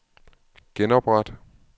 genopret